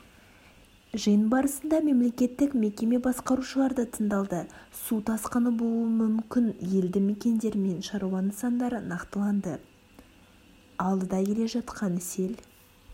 жиын барысында мемлекеттік мекеме басқарушылары да тыңдалды су тасқыны болуы мүкіні елді мекендер мен шаруа нысандары нақтыланды алдыда келе жатқан сел